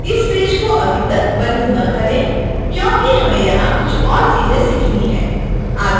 इस पेज को अभी तक बंद न करें क्योंकि हमें यहां कुछ और चीजें सीखनी है